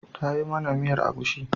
Ta yi mana miyar agushi.